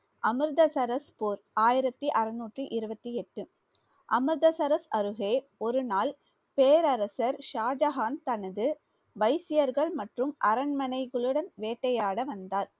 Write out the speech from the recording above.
அமிர்தசரஸ் போர் ஆயிரத்தி அறுநூற்றி இருவத்தி எட்டு அமிர்தசரஸ் அருகே ஒரு நாள் பேரரசர் ஷாஜகான் தனது வைசியர்கள் மற்றும் அரண்மனைகளுடன் வேட்டையாட வந்தார்.